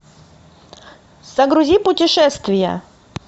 загрузи путешествия